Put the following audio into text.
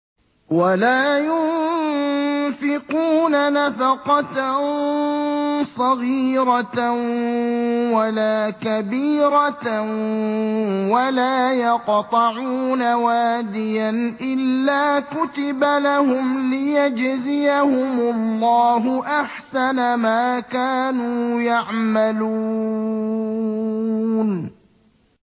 وَلَا يُنفِقُونَ نَفَقَةً صَغِيرَةً وَلَا كَبِيرَةً وَلَا يَقْطَعُونَ وَادِيًا إِلَّا كُتِبَ لَهُمْ لِيَجْزِيَهُمُ اللَّهُ أَحْسَنَ مَا كَانُوا يَعْمَلُونَ